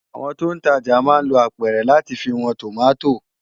Awòn tó n tàjá má n ló ápèrè làtí fi wòn tómàtó